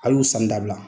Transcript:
Al y'u sanni dabila